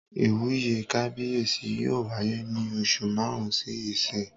Ìwúyè kábíyèsí yóò wáyé ní oṣù màrún sí ìsín